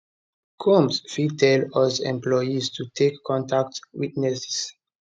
combs fit still use employees to take contact witnesses